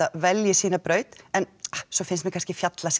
velji sína braut en svo finnst mér kannski